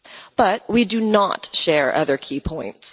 But we do not share other key points.